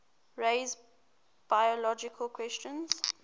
raise biological questions